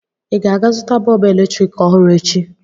Ị ga-aga zụta bọọbụ eletrik ọhụrụ echi?